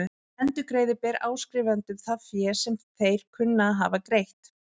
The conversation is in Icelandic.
Endurgreiða ber áskrifendum það fé sem þeir kunna að hafa greitt.